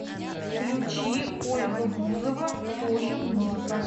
включи ольга бузова тоже музыка